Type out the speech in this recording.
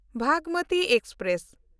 Bhagmati express